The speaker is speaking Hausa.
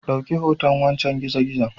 Dauki hoton wancen gizo gizon